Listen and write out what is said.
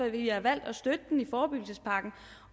at vi har valgt at støtte den i forebyggelsespakken